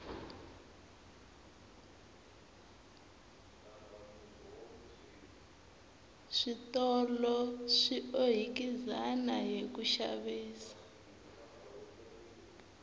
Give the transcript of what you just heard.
switolo swi ohikizana hiku xavisa